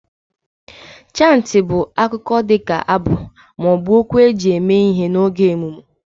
Chantị bụ akụkọ dị ka abụ ma ọ bụ okwu eji eme ihe n'oge emume